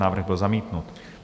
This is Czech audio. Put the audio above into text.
Návrh byl zamítnut.